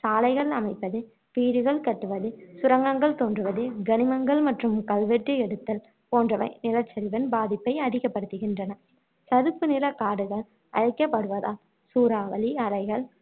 சாலைகள் அமைப்பது, வீடுகள் கட்டுவது, சுரங்கங்கள் தோன்றுவது, கனிமங்கள் மற்றும் கல்வெட்டியெடுத்தல் போன்றவை நிலச்சரிவின் பாதிப்பை அதிகப்படுத்துகின்றன. சதுப்பு நிலக்காடுகள் அழிக்கப்படுவதால் சூறாவளி அலைகள்